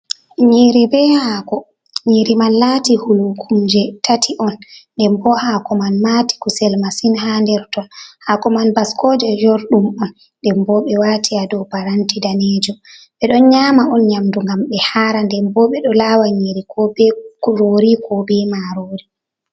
Nyiiri bee haako, nyiiri man laati hulkumje tati on. Nden bo haako man maati kusel masin haa nder ton. Haako man baskooje jorɗum on. Nden bo ɓe waati dow paranti daneejo, ɓe ɗon nyaama on nyaamdu ngam ɓe haara. Nden bo ɓe ɗo laawa nyiiri koo bee kuroori koo bee maaroori.